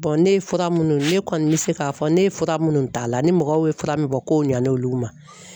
ne ye fura munnu ne kɔni bɛ se k'a fɔ ne ye fura munnu ta a la ni mɔgɔw ye fura min fɔ kow ɲalen olu ma